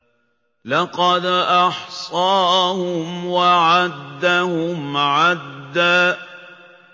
لَّقَدْ أَحْصَاهُمْ وَعَدَّهُمْ عَدًّا